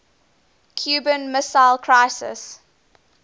cuban missile crisis